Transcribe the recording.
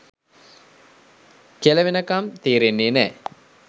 කෙළවෙනකම් තේරෙන්නෙ නෑ.